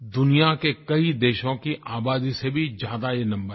दुनिया के कई देशों की आबादी से भी ज़्यादा ये नंबर है